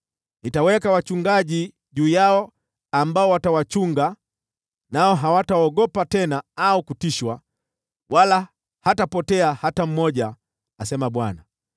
Nitaweka wachungaji juu yao ambao watawachunga, nao hawataogopa tena au kutishwa, wala hatapotea hata mmoja,” asema Bwana .